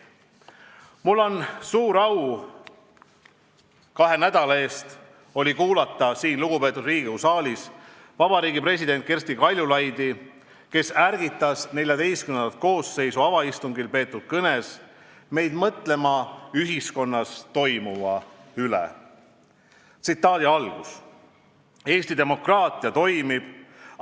Mul oli suur au kahe nädala eest kuulata siin lugupeetud Riigikogu saalis Eesti Vabariigi presidenti Kersti Kaljulaidi, kes ärgitas XIV koosseisu avaistungil peetud kõnes meid mõtlema ühiskonnas toimuva üle: "Eesti demokraatia toimib.